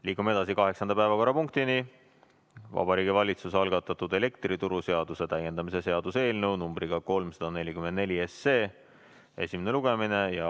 Liigume edasi kaheksanda päevakorrapunktiga – Vabariigi Valitsuse algatatud elektrituruseaduse täiendamise seaduse eelnõu 344 esimene lugemine.